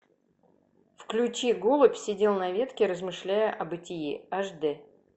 включи голубь сидел на ветке размышляя о бытие аш дэ